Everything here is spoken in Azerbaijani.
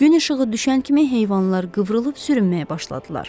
Gün işığı düşən kimi heyvanlar qıvrılıb sürünməyə başladılar.